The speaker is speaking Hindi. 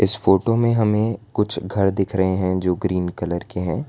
इस फोटो में हमें कुछ घर दिख रहे हैं जो ग्रीन कलर के हैं।